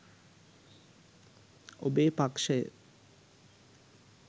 ඔබේ පක්‍ෂය